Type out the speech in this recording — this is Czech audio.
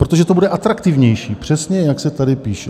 Protože to bude atraktivnější, přesně jak se tady píše.